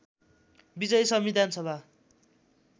विजयी संविधान सभा